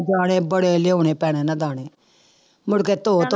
ਦਾਣੇ ਬੜੇ ਲਿਆਉਣੇ ਭੈਣੇ ਨਾ ਦਾਣੇ, ਮੁੜਕੇ ਧੋ ਧੋ